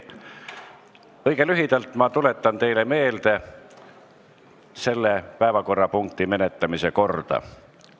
Õige lühidalt tuletan ma teile meelde selle päevakorrapunkti menetlemise korda.